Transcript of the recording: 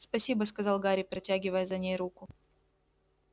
спасибо сказал гарри протягивая за ней руку